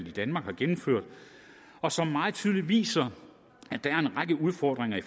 i danmark har gennemført og som meget tydeligt viser at der er en række udfordringer i